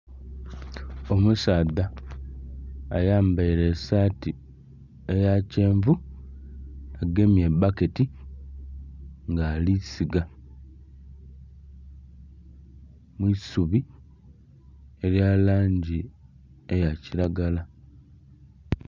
Omusaadha ayambaire esaati eya kyenvu agemye ebbaketi nga ali ssiga mwi'subi erya langi eya kilagala.